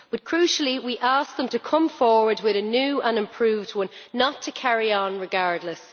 But, crucially, it asked them to come forward with a new and improved one, not to carry on regardless.